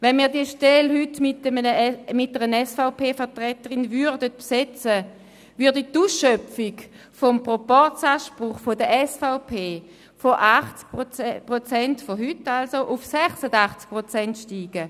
Wenn wir diese Stelle mit einer SVP-Vertreterin besetzen würden, würde die Ausschöpfung des Proporzanspruchs der SVP von heute 80 Prozent auf 86 Prozent ansteigen.